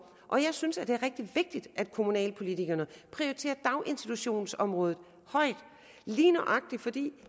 og jeg synes det er rigtig vigtigt at kommunalpolitikerne prioriterer daginstitutionsområdet højt lige nøjagtig fordi